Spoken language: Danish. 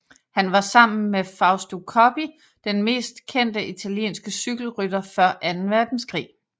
Han var sammen med Fausto Coppi den mest kendte italienske cykelrytter før anden verdenskrig